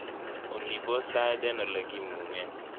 olly pos tait en olegimungen